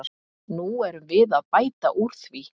Nú erum við að bæta úr því.